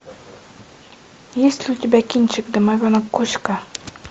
есть ли у тебя кинчик домовенок кузька